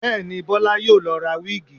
Bẹ́ẹ̀ni, Bọlá yóò lọ ra wíìgì